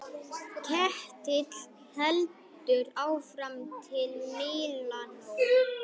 Ketill heldur áfram til Mílanó.